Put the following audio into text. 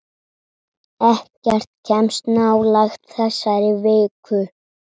Ekkert kemst nálægt þessari viku.